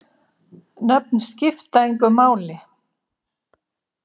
Nöfn skipta engu máli.